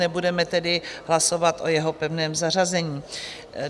Nebudeme tedy hlasovat o jeho pevném zařazení.